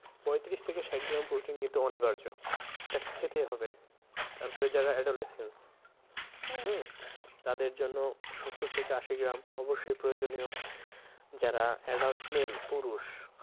পঁইত্রিশ থেকে ষাট গ্রাম protein কিন্তু অনিবার্য, তাকে খেতেই হবে তার পরে যারা adolescent হম? তাদের জন্য সত্তর থেকে আশি গ্রাম অব্যশই প্রয়োজনীয় যারা adult male পুরুষ